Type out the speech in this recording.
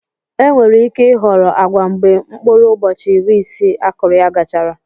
Enwere ike ịhọrọ agwa mgbe mkpụrụ ụbọchị iri isii akụrụ ya gachara.